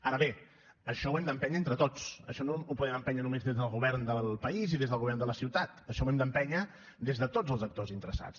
ara bé això ho hem d’empènyer entre tots això no ho podem empènyer nomes des del govern del país i des del govern de la ciutat això ho hem d’empènyer des de tots els actors interessats